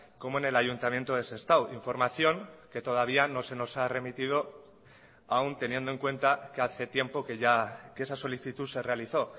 como en el ayuntamiento de sestao información que todavía no se nos ha remitido aun teniendo en cuenta que hace tiempo que ya que esa solicitud se realizó